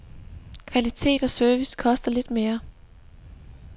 Kvalitet og service koster lidt mere.